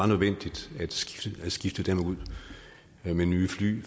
nødvendigt at skifte dem ud med nye fly vi